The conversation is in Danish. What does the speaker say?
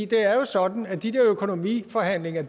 det er jo sådan at de økonomiforhandlinger